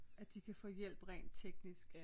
At de kan få hjælp rent teknisk